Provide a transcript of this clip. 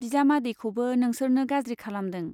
बिजामादैखौबो नोंसोरनो गाज्रि खालामदों।